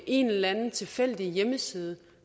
en eller anden tilfældig hjemmeside